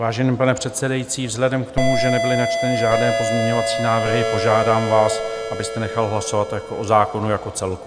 Vážený pane předsedající, vzhledem k tomu, že nebyly načteny žádné pozměňovací návrhy, požádám vás, abyste nechal hlasovat o zákonu jako celku.